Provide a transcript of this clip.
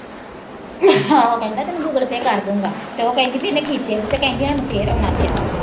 ਕਹਿੰਦਾ ਤੈਨੂੰ Google Pay ਕਰ ਦੂੰਗਾ ਤੇ ਉਹ ਕਹਿੰਦੀ ਭੀ ਇੰਨੇ ਕੀਤੇ ਨੀ ਤੇ ਕਹਿੰਦੀ ਹਾਨੂੰ ਫੇਰ ਆਉਣਾ ਪਿਆ।